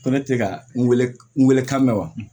Ko ne tɛ ka n wele n weele kan mɛn wa